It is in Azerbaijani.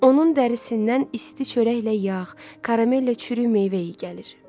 Onun dərisindən isti çörəklə yağ, karamellə çürük meyvə iyi gəlir.